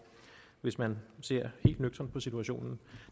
hvis man ser helt nøgternt på situationen